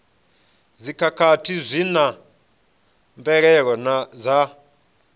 dzikhakhathi zwi na mvelelo dza